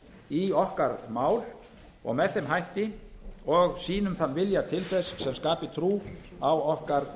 í okkar mál og með þeim hætti og sýnum þann vilja til þess sem skapi trú á okkar